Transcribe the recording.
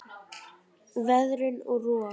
Veðrun og rof